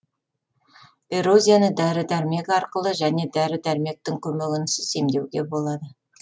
эрозияны дәрі дәрмек арқылы және дәрі дәрмектің көмегінсіз емдеуге болады